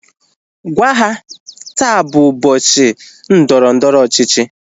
Gwaa ha! Taa bụ ụbọchị ndọrọndọrọ ọchịchị